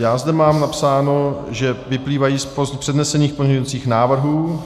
Já zde mám napsáno, že vyplývají z přednesených pozměňovacích návrhů.